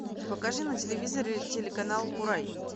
покажи на телевизоре телеканал курай